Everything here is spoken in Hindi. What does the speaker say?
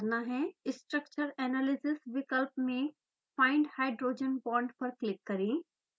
structure analysis विकल्प में findhbond पर क्लिक करें